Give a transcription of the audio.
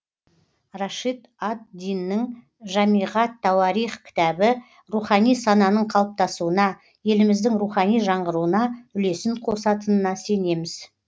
рашид ад диннің жамиғ ат тауарих кітабы рухани сананың қалыптасуына еліміздің рухани жаңғыруына үлесін қосатынына сенеміз